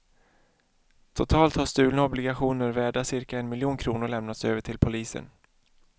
Totalt har stulna obligationer värda cirka en miljon kronor lämnats över till polisen.